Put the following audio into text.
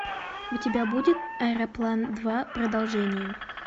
у тебя будет аэроплан два продолжение